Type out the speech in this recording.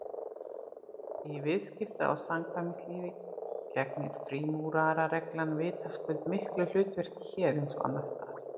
Í viðskipta- og samkvæmislífi gegnir frímúrarareglan vitaskuld miklu hlutverki hér eins og annars staðar.